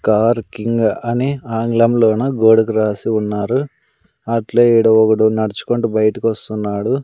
Car king అని ఆంగ్లంలో నా గోడకి రాసి ఉన్నారు అట్లే ఈడ ఒక్కడు నడుచుకుంటూ బయటకి వస్తున్నాడు.